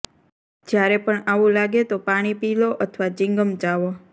જ્યારે પણ આવું લાગે તો પાણી પી લો અથવા ચિંગમ ચાવો